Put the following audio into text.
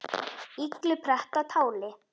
illu pretta táli.